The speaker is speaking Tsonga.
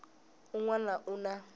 ni un wana u na